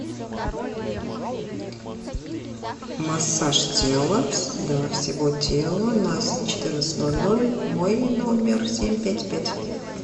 массаж тела для всего тела на четырнадцать ноль ноль мой номер семь пять пять